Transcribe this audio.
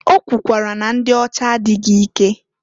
O kwukwara na ndị ọcha adịghị ike.